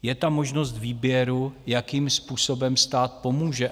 Je tam možnost výběru, jakým způsobem stát pomůže.